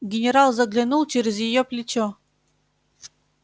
генерал заглянул через её плечо